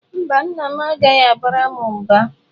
Mba, nna m agaghị abara m mba.